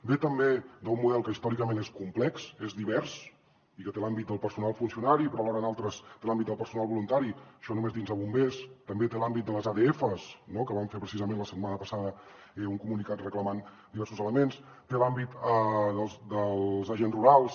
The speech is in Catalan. ve també d’un model que històricament és complex és divers i que té l’àmbit del personal funcionari però alhora en altres té l’àmbit del personal voluntari això només dins de bombers també té l’àmbit de les adfs que van fer precisament la setmana passada un comunicat reclamant diversos elements té l’àmbit dels agents rurals